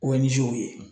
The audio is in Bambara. O ye nizeriw ye